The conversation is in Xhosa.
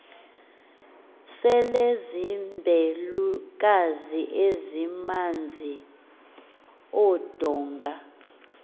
selezimbelukazi ezimanz andonga